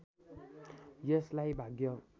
यसलाई भाग्य